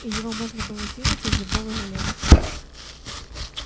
и его можно сделать из любого железа